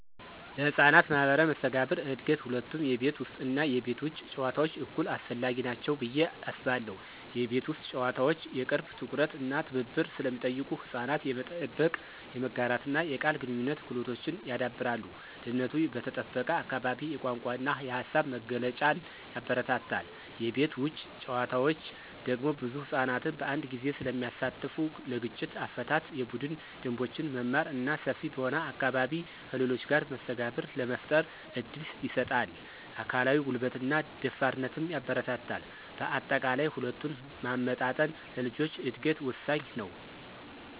ለሕፃናት ማኅበራዊ መስተጋብር እድገት ሁለቱም የቤት ውስጥ እና የቤት ውጭ ጨዋታዎች እኩል አስፈላጊ ናቸው ብዬ አስባለሁ። የቤት ውስጥ ጨዋታዎች የቅርብ ትኩረት እና ትብብር ስለሚጠይቁ ሕፃናት የመጠበቅ፣ የመጋራትና የቃል ግንኙነት ክህሎቶችን ያዳብራሉ። ደህንነቱ በተጠበቀ አካባቢ የቋንቋ እና የሃሳብ መግለጫን ያበረታታል። የቤት ውጭ ጨዋታዎች ደግሞ ብዙ ሕፃናትን በአንድ ጊዜ ስለሚያሳትፉ ለግጭት አፈታት፣ የቡድን ደንቦችን መማር እና ሰፊ በሆነ አካባቢ ከሌሎች ጋር መስተጋብር ለመፍጠር እድል ይሰጣል። አካላዊ ጉልበትንና ደፋርነትንም ያበረታታል። በአጠቃላይ፣ ሁለቱን ማመጣጠን ለልጆች እድገት ወሳኝ ነው።